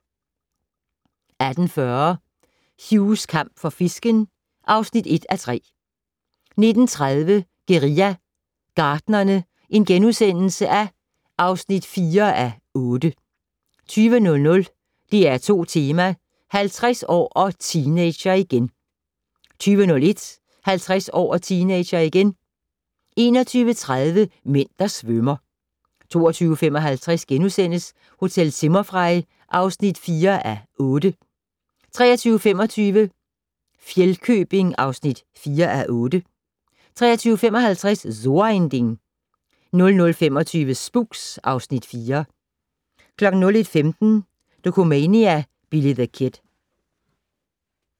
18:40: Hughs kamp for fisken (1:3) 19:30: Guerilla Gartnerne (4:8)* 20:00: DR2 Tema: 50 år - og teenager igen 20:01: 50 år - og teenager igen 21:30: Mænd, der svømmer 22:55: Hotel Zimmerfrei (4:8)* 23:25: Fjellkøbing (4:8) 23:55: So ein Ding 00:25: Spooks (Afs. 4) 01:15: Dokumania: Billy the Kid